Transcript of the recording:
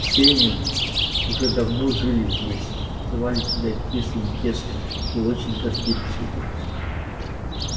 все они уже давно жили здесь называли себя кислым тестом и очень гордились этим